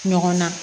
Ɲɔgɔn na